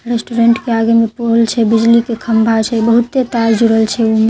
restaurant के आगे मे पोल छे बिजली के खम्भा छे बहुते तार जुड़ल छे ओहि मे--